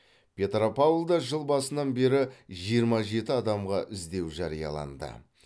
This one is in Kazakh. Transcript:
петропавлда жыл басынан бері жиырма жеті адамға іздеу жарияланды